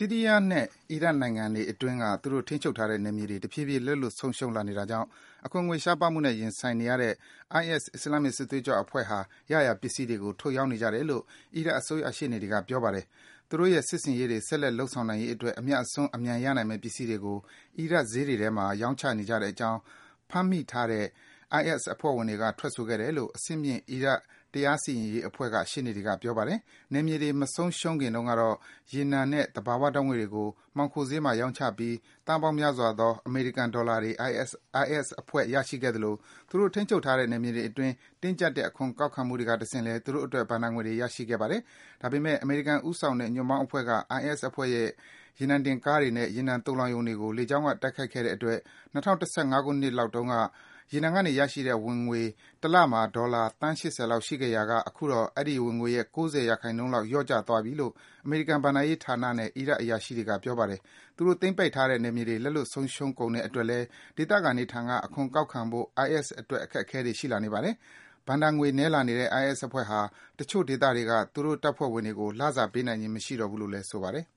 ီးရီးယားနဲ့ အီရတ်နိုင်ငံတွေ အတွင်းက သူတို့ ထိန်းချုပ်ထားတဲ့ နယ်မြေတွေ တဖြည်းဖြည်း လက်လွတ် ဆုံးရှုံးလာနေတာကြောင့် ရံပုံငွေ ရှားပါးမှုနဲ့ ရင်ဆိုင်နေရတဲ့ IS အစ္စလာမ္မစ် စစ်သွေးကြွအဖွဲ့ဟာ ရရာပစ္စည်းတွေကို ထုတ်ရောင်းနေကြတယ်လို့ အီရတ် အစိုးရ ရှေ့နေတွေက ပြောပါတယ်။ သူတို့ရဲ့စစ်ဆင်ရေးတွေ ဆက်လက် လုပ်ဆောင်နိုင်ရေးအတွက် အမြတ်အစွန်း အမြန်ရနိုင်မယ့် ပစ္စည်းတွေကို အီရတ် ဈေးတွေထဲမှာ ရောင်းချနေကြတဲ့ အကြောင်း ဖမ်းမိထားတဲ့ IS အဖွဲ့ဝင်တွေက ထွက်ဆိုခဲ့တယ်လို့ အဆင့်မြင့် အီရတ် တရားစီရင်ရေး အဖွဲ့က ရှေ့နေတွေက ပြောပါတယ်။ နယ်မြေတွေ မဆုံးရှုံးခင်တုန်းကတော့ ရေနံနဲ့ ဓာတ်ငွေ့တွေကို မှောင်ခိုဈေးမှာ ရောင်းချပြီး သန်းပေါင်းများစွာသော အမေရိကန် ဒေါ်လာတွေ IS အဖွဲ့ ရရှိခဲ့သလို သူတို့ ထိန်းချုပ်ထားတဲ့ နယ်မြေတွေအတွင်း တင်းကြပ်တဲ့ အခွန်ကောက်ခံမှုတွေက တဆင့်လည်း သူတို့အတွက် ဘဏ္ဍာငွေတွေ ရရှိခဲ့ပါတယ်။ ဒါပေမယ့် အမေရိကန် ဦးဆောင်တဲ့ ညွန့်ပေါင်းအဖွဲ့တွေက IS အဖွဲ့ရဲ့ ရေနံတင်ကားတွေနဲ့ ရေနံသိုလှောင်ရုံတွေကို လေကြောင်းက တိုက်ခိုက်ခဲ့တဲ့ အတွက် ၂၀၁၅ ခုနှစ်တုန်းက ရေနံကနေ ရရှိတဲ့ ဝင်ငွေ တလမှာ ဒေါ်လာ သန်း ၈၀ လောက် ရှိခဲ့ရာက အခုတော့ အဲဒီ ဝင်ငွေရဲ့ ၉၀ ရာခိုင်နှုန်းလောက် လျော့ကျသွားပြီလို့ အမေရိကန် ဘဏ္ဍာရေးဌာနနဲ့ အီရတ် အရာရှိတွေက ပြောပါတယ်။ သူတို့ သိမ်းပိုက်ထားတဲ့ နယ်မြေတွေ လက်လွတ် ဆုံးရှုံးကုန်တဲ့ အတွက်လည်း ဒေသခံတွေထံက အခွန်ကောက်ခံဖို့ IS အတွက် အခက်အခဲတွေ ရှိလာနေပါတယ်။ ဘဏ္ဍာငွေ နည်းလာနေတဲ့ IS အဖွဲ့ဟာ တချို့ ဒေသတွေက သူတို့ တပ်ဖွဲ့ဝင်တွေကို လစာ ပေးနိုင်ခြင်း မရှိတော့ဘူးလို့ ဆိုပါတယ်